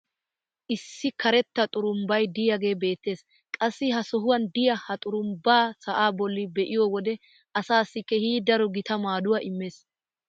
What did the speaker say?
issi karetta xurumbbay diyaagee beetees. qassi ha sohuwan diya ha xurumbba sa"aa boli be'iyo wode asaassi keehi daro gita maaduwa immees.